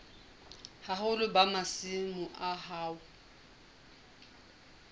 boholo ba masimo a hao